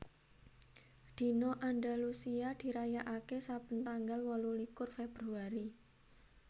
Dina Andalusia dirayakaké saben tanggal wolulikur Februari